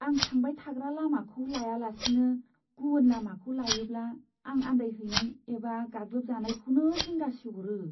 आं थांबाय थाग्रा लामाखौ लायालासिनो गुबुन लामाखौ लायोब्ला आं आन्दायहैनाय एबा गाग्लोबजानायखौनो जिंगासिह'रो।